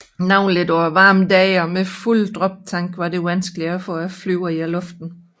Navnlig på varme dage og med fulde droptanke var det vanskeligt at få flyet i luften